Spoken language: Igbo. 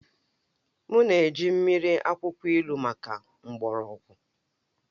M na-eji mmiri akwụkwọ ilu maka mgbọrọgwụ